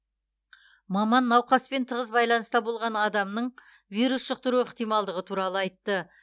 маман науқаспен тығыз байланыста болған адамның вирус жұқтыру ықтималдығы туралы айтты